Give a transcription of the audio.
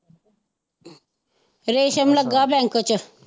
ਰੇਸ਼ਮ ਲੱਗਾ ਬੈਂਕ ਚ।